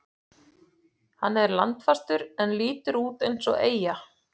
Hann er landfastur en lítur út eins og eyja.